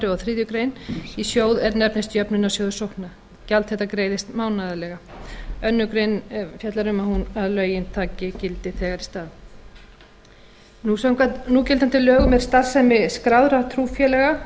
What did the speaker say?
og þriðju grein í sjóð er nefnist jöfnunarsjóður sókna gjald þetta greiðist mánaðarlega annarri grein fjallar um að lögin taki gildi þegar í stað samkvæmt núgildandi lögum er starfsemi skráðra trúfélaga